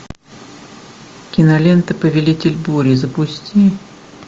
кинолента повелитель бури запусти